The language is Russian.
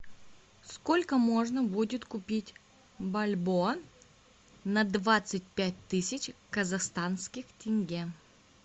сколько можно будет купить бальбоа на двадцать пять тысяч казахстанских тенге